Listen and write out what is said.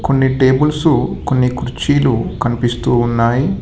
కొన్ని టేబుల్సు కొన్ని కుర్చీలు కనిపిస్తూ ఉన్నాయి.